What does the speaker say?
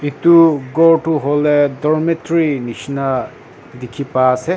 etu ghor toh hoile dormitory nishna dekhi pa ase.